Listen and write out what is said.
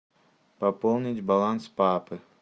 пополнить баланс папы